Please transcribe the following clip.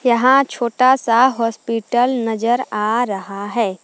यहां छोटा सा हॉस्पिटल नजर आ रहा है।